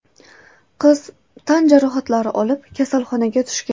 Qiz tan jarohatlari olib kasalxonaga tushgan.